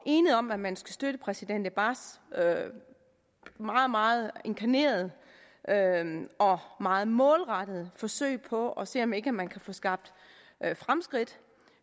enige om at man skal støtte præsident abbas meget meget inkarnerede og meget målrettede forsøg på at se om ikke man kan få skabt fremskridt